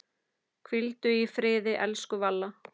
Hvíldu í friði, elsku Valla.